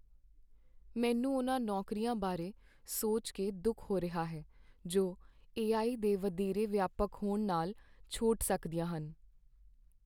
ਮੈਨੂੰ ਉਨ੍ਹਾਂ ਨੌਕਰੀਆਂ ਬਾਰੇ ਸੋਚ ਕੇ ਦੁੱਖ ਹੋ ਰਿਹਾ ਹੈ ਜੋ ਏ.ਆਈ. ਦੇ ਵਧੇਰੇ ਵਿਆਪਕ ਹੋਣ ਨਾਲ ਛੋਟ ਸਕਦੀਆਂ ਹਨ।